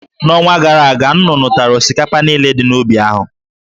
N'ọnwa gara aga, nnụnụ tara osikapa niile dị n'ubi ahụ.